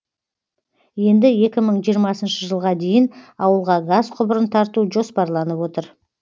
енді екіи мың жирмасыншы жылға дейін ауылға газ құбырын тарту жоспарланып отыр